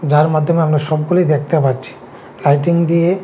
যার মাধ্যমে আমরা সবগুলি দেখতে পাচ্ছি লাইটিং দিয়ে--